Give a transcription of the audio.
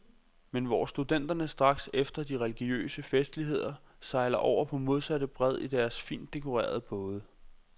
Men hvor studenterne straks efter de religiøse festligheder sejlede over på modsatte bred i deres fint dekorerede både.